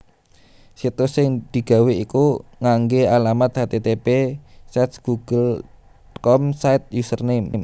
Situs sing digawé iku nganggé alamat http //sites google com/site/username/